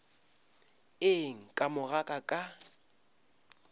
eng ka mo ga ka